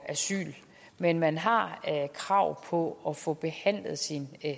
asyl men man har krav på at få behandlet sin